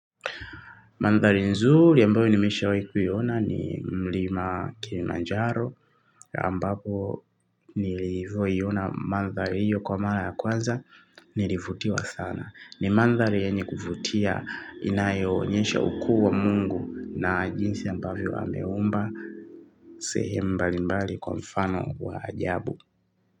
Mandhali nzuri ambayo nimeshawai kuiona ni Mlima Kilimanjaro ambapo nilivoiyona mandhali hiyo kwa mara ya kwanza nilivutiwa sana. Ni mandhali yenye kuvutia inayo onyesha ukuu wa mungu na jinsi ambavyo ameumba sehemu mbalimbali kwa mfano wa ajabu.